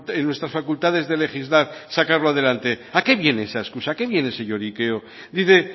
en nuestras facultades de legislar sacarlo adelante a qué viene esa excusa a qué viene ese lloriqueo dice